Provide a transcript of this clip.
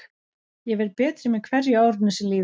Ég verð betri með hverju árinu sem líður.